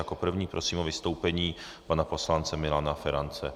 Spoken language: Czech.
Jako prvního prosím o vystoupení pana poslance Milana Ferance.